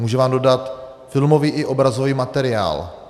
Může vám dodat filmový i obrazový materiál.